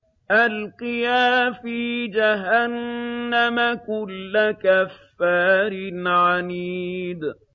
أَلْقِيَا فِي جَهَنَّمَ كُلَّ كَفَّارٍ عَنِيدٍ